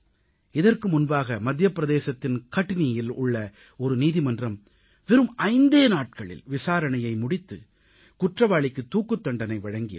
இதற்கு முன்பாக மத்திய பிரதேசத்தின் கட்னீயில் உள்ள ஒரு நீதிமன்றம் வெறும் ஐந்தே நாட்களில் விசாரணையை முடித்து குற்றவாளிகளுக்குத் தூக்குத் தண்டனை வழங்கியது